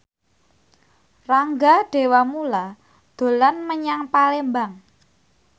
Rangga Dewamoela dolan menyang Palembang